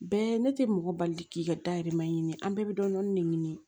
Bɛɛ ne tɛ mɔgɔ bali k'i ka dahirimɛ ɲini an bɛɛ bɛ dɔni de ɲini